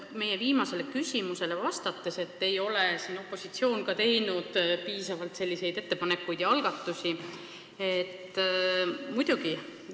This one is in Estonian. Meie viimasele küsimusele vastates kritiseerisite, et opositsioon ei ole siin ka piisavalt ettepanekuid ega algatusi teinud.